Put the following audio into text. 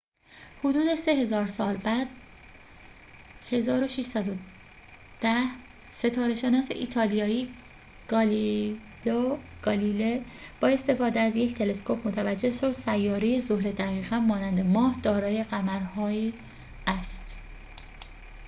حدود سه هزار سال بعد در ۱۶۱۰ ستاره‌شناس ایتالیایی گالیلئو گالیله با استفاده از یک تلسکوپ متوجه شد سیاره زهره دقیقاً مانند ماه دارای قمرهایی است